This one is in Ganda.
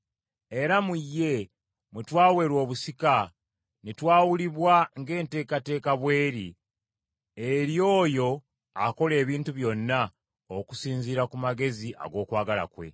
Era mu ye mwe twaweerwa obusika ne twawulibwa ng’enteekateeka bw’eri ey’oyo akola ebintu byonna okusinziira ku magezi ag’okwagala kwe;